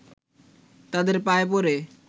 তাদের পায়ে পড়ে